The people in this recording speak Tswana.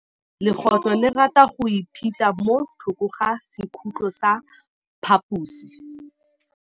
Legôtlô le rata go iphitlha mo thokô ga sekhutlo sa phaposi.